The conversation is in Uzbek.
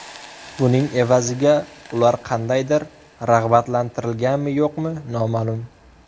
Buning evaziga ular qandaydir rag‘batlantirilganmi-yo‘qmi, noma’lum.